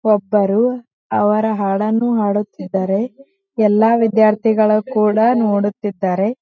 ಒಬ್ಬರು ಅವರ ಹಾಡನ್ನು ಹಾಡುತ್ತಿದ್ದಾರೆ ಎಲ್ಲ ವಿದ್ಯಾರ್ಥಿಗಳು ಕೂಡ ನೋಡುತಿದ್ದಾರೆ .